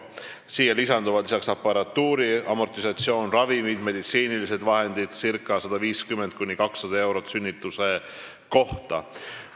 Siia lisanduvad aparatuuri amortisatsiooni, ravimite ja meditsiiniliste vahendite kulud 150–200 eurot sünnituse kohta.